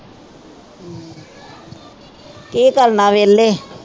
ਕਿ ਕਰਨਾ ਵੇਹਲੇ